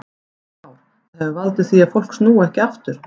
Kristján Már: Það hefur valdið því að fólk snúi ekki aftur?